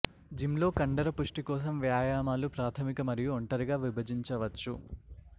gym లో కండరపుష్టి కోసం వ్యాయామాలు ప్రాథమిక మరియు ఒంటరిగా విభజించవచ్చు